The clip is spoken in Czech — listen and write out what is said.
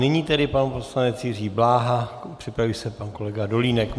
Nyní tedy pan poslanec Jiří Bláha, připraví se pan kolega Dolínek.